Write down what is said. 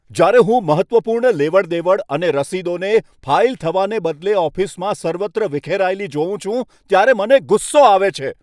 જ્યારે હું મહત્ત્વપૂર્ણ લેવડ દેવડ અને રસીદોને ફાઈલ થવાને બદલે ઓફિસમાં સર્વત્ર વિખેરાયેલી જોઉં છું ત્યારે મને ગુસ્સો આવે છે.